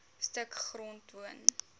stuk grond woon